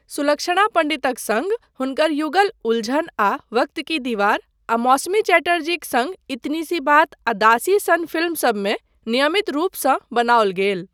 सुलक्षणा पण्डितक सङ्ग हुनकर युगल 'उलझन' आ 'वक्त की दीवार' आ मौसमी चटर्जीक सङ्ग 'इतनी सी बात' आ 'दासी' सन फिल्मसबमे नियमित रूपसँ बनाओल गेल।